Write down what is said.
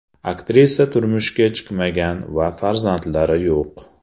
Aktrisa turmushga chiqmagan va farzandlari yo‘q.